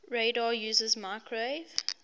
radar uses microwave